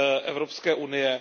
Evropské unie.